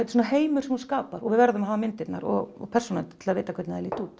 svona heimur sem hún skapar og við verðum að hafa myndirnar og persónurnar til að vita hvenær þær líta út